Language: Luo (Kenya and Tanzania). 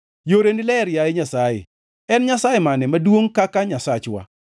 Yoreni ler, yaye Nyasaye. En nyasaye mane maduongʼ kaka Nyasachwa?